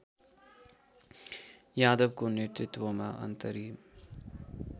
यादवको नेतृत्वमा अन्तरिम